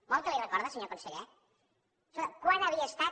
vol que li ho recorde senyor conseller escolta quan havia estat